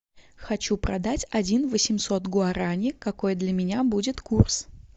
хочу продать один восемьсот гуарани какой для меня будет курс